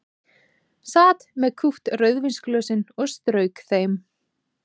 Sat með kúpt rauðvínsglösin og strauk þeim.